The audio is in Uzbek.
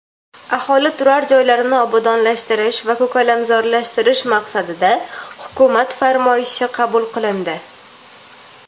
aholi turar joylarini obodonlashtirish va ko‘kalamzorlashtirish maqsadida Hukumat farmoyishi qabul qilindi.